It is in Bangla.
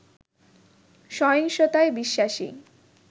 সহিংসতায় বিশ্বাসী